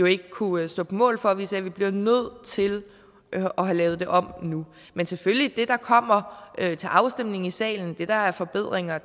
ikke kunne stå på mål for og vi sagde at vi bliver nødt til at have lavet det om nu men selvfølgelig det der kommer til afstemning i salen det der er forbedringer